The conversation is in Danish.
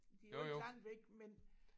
Det jo ikke langt væk men